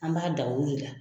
An b'a da o de la.